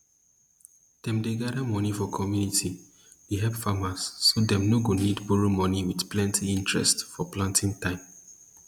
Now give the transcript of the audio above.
dem gather money for community dey help farmers so dem no go need borrow money with plenty interest for planting time